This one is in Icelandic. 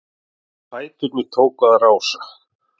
Og fæturnir tóku að rása-